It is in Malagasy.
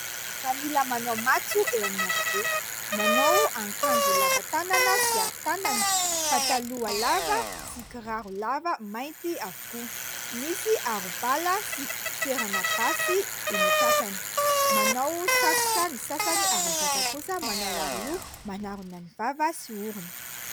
Miaramila manao matso eo amin'ny arabe : manao akanjo lava tanana sy arotanana, pataloha lava sy kiraro lava mainty avokoa ; misy arobala sy fitoerana basy eny an-tratrany ; manao satroka ny sasany ary ny sasany kosa manao aroloha manarona ny vava sy orona.